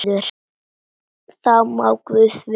Það má guð vita.